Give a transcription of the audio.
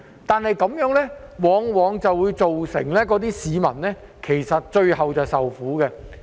但如此一來，往往會造成市民最終要受苦。